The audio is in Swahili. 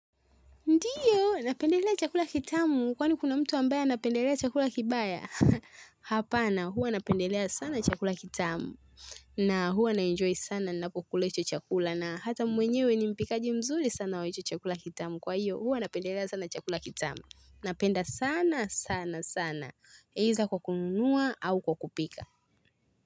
Ndiyo, napendelea chakula kitamu kwani kuna mtu ambaye anapendelea chakula kibaya Hapana, huwa napendelea sana chakula kitamu na huwa naenjoy sana napokula hicho chakula na hata mwenyewe ni mpikaji mzuri sana wa hichi chakula kitamu Kwa hiyo, huwa napendelea sana chakula kitamu. Napenda sana, sana, sana Either kwa kunua au kwa kupika.